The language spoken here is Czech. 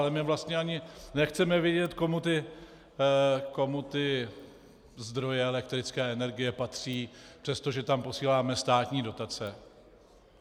A my vlastně ani nechceme vědět, komu ty zdroje elektrické energie patří, přestože tam posíláme státní dotace.